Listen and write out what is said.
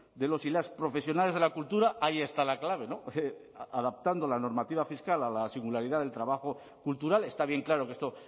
de los y las profesionales de la cultura ahí está la clave adaptando la normativa fiscal a la singularidad del trabajo cultural está bien claro que esto